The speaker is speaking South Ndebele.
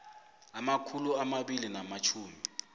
abamakhulu amabili namatjhumi